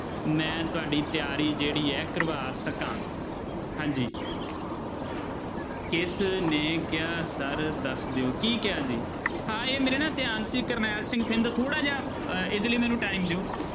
ਮੈਂ ਤੁਹਾਡੀ ਤਿਆਰੀ ਜਿਹੜੀ ਹੈ ਕਰਵਾ ਸਕਾਂ ਹਾਂਜੀ ਕਿਸ ਨੇ ਕਿਹਾ sir ਦੱਸ ਦਿਓ ਕੀ ਕਿਹਾ ਜੀ ਹਾਂ ਇਹ ਮੇਰੇ ਨਾ ਧਿਆਨ ਸੀ ਕਰਨੈਲ ਸਿੰਘ ਥਿੰਦ ਥੋੜ੍ਹਾ ਜਿਹਾ ਅਹ ਇਹਦੇ ਲਈ ਮੈਨੂੰ time ਦਿਓ